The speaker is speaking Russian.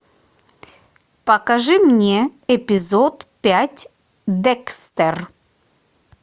покажи мне эпизод пять декстер